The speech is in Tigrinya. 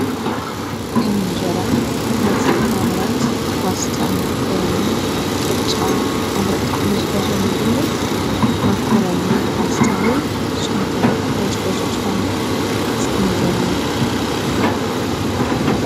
ከምንጀይራ ሕምልቲ ምፍራምርን፣ ባስታ ፣መኮሮኒ፣ ቅጫ ኣነጣሕ ምዝፈሶ ምግብግን መኮሮኒ ፋስታንዩ ስኹምከ ታይትፈሱ ትኾኑ ስከምገሩና?